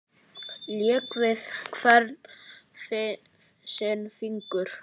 Lék við hvern sinn fingur.